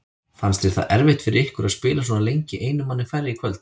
Fannst þér það erfitt fyrir ykkur að spila svona lengi einum manni færri í kvöld?